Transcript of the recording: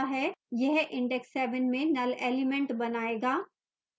यह index 7 में null element बनायेगा